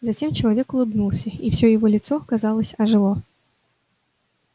затем человек улыбнулся и всё его лицо казалось ожило